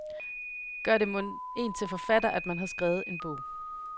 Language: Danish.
Gør det mon en til forfatter, at man har skrevet en bog.